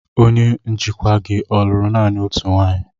Onye njikwa gị ọ lụrụ naanị otu nwanyị?